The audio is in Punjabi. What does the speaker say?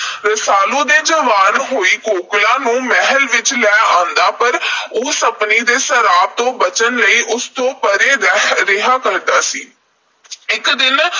ਰਸਾਲੂ ਨੇ ਜਵਾਨ ਹੋਈ ਕੋਕਲਾਂ ਨੂੰ ਮਹਿਲ ਵਿਚ ਲੈ ਆਂਦਾ। ਪਰ ਉਹ ਸੱਪਣੀ ਦੇ ਸਰਾਪ ਤੋਂ ਬਚਣ ਲਈ ਉਸ ਤੋਂ ਪਰੇ ਰਹਿ ਰਿਹਾ ਸੀ। ਇਕ ਦਿਨ